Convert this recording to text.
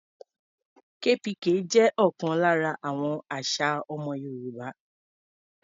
KPK jẹ́ ọ̀kan lára àwọn àṣà ọmọ Yorùbá.